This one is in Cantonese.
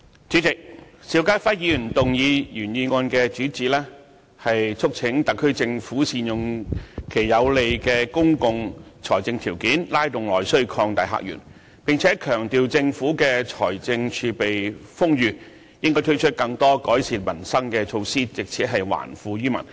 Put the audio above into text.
主席，邵家輝議員的原議案的主旨是促請政府善用有利的公共財政條件，拉動內需，擴大客源，並且強調政府的財政儲備豐裕，應該推出更多改善民生的措施，藉此還富於民。